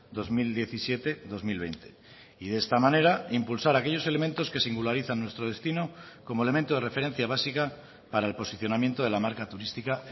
dos mil diecisiete dos mil veinte y de esta manera impulsar aquellos elementos que singularizan nuestro destino como elemento de referencia básica para el posicionamiento de la marca turística